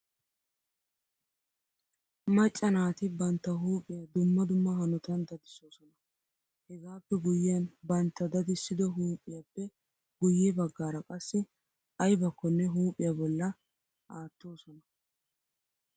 Macca naati bantta huuphiyaa dumma dumma hanotan dadisoosona. Hegaappe guyyiyan bantta dadissido huuphiyaappe guyye baggaara qassi aybakkonne huuphiyaa bolla aattoosona.